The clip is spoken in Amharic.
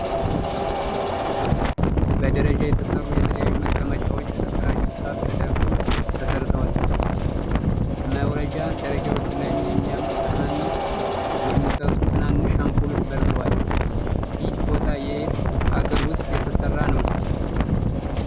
በደረጃ የተሰሩ የተለያዩ መቀመጫዎች ከስራቸው ሳር ተደርጎ ተሰርተዋል። መውረጃ ደረጃዎቹ ላይም የሚያማምር ብርሃንን የሚሰጡ ትናንሽ አምፖሎች በርተዋል። ይህ ቦታ የት ሃገር ዉስጥ የተሰራ ነው።